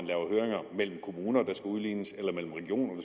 høringer mellem kommuner der skal udlignes eller mellem regioner